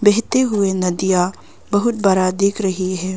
बहते हुए नदिया बहुत बड़ा दिख रही है।